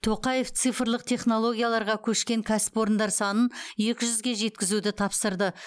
тоқаев цифрлық технологияларға көшкен кәсіпорындар санын екі жүзге жеткізуді тапсырды